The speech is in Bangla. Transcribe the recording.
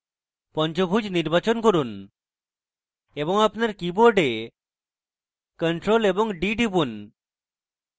পঞ্চভুজ নির্বাচন করুন এবং আপনার keyboard ctrl + d টিপুন